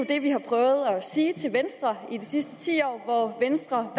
det vi har prøvet at sige til venstre i de sidste ti år hvor venstre